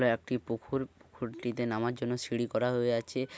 হয় একটি পুখুর পুখুরটিতে নামার জন্য সিঁড়ি করা হয়ে আছে ।